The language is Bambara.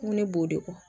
N ko ne b'o de fɔ